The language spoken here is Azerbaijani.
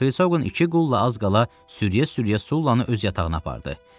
Xrisoqan iki qulla az qala sürükləyə-sürükləyə Sullanı öz yatağına apardı.